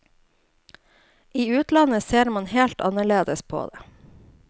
I utlandet ser man helt annerledes på det.